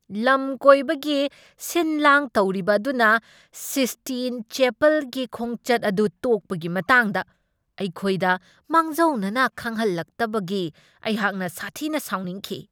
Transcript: ꯂꯝ ꯀꯣꯏꯕꯒꯤ ꯁꯤꯟ ꯂꯥꯡ ꯇꯧꯔꯤꯕ ꯑꯗꯨꯅ ꯁꯤꯁꯇꯤꯟ ꯆꯦꯄꯜꯒꯤ ꯈꯣꯡꯆꯠ ꯑꯗꯨ ꯇꯣꯛꯄꯒꯤ ꯃꯇꯥꯡꯗ ꯑꯩꯈꯣꯏꯗ ꯃꯥꯡꯖꯧꯅꯅ ꯈꯪꯍꯜꯂꯛꯇꯕꯒꯤ ꯑꯩꯍꯥꯛꯅ ꯁꯥꯊꯤꯅ ꯁꯥꯎꯅꯤꯡꯈꯤ꯫